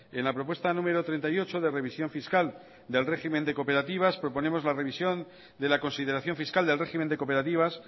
en la propuesta número treinta y ocho de revisión fiscal del régimen de cooperativas proponemos la revisión de la consideración fiscal del régimen de cooperativas